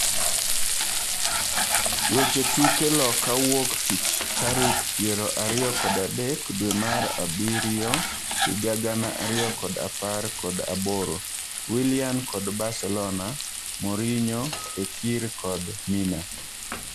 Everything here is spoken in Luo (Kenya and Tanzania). Weche tuke loka wuok tich tarik piero ariyo kod adek dwee mar abirio higa gana ariyo kod apar kod aboro:Willian kod Barcelona, Mourinho, Fekir kod Mina